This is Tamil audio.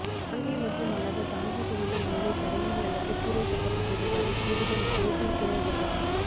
தாங்கி மற்றும் அல்லாத தாங்கி சுவர்கள் மேலே தரையில் அல்லது கூரை கட்டப்பட்டது வரை கூடுதல் பிரேசில் தேவைப்படலாம்